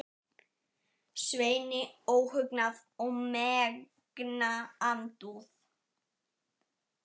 Sveini óhugnað og megna andúð.